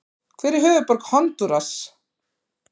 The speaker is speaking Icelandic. Hver er höfuðborg Honduras?